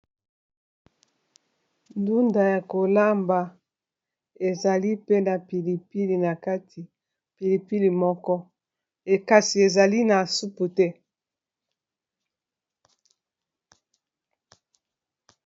ndunda ya kolamba ezali pena pilipili na kati pilipili moko kasi ezali na supu te